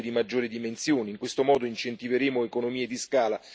in questo modo incentiveremo economie di scala per gli investimenti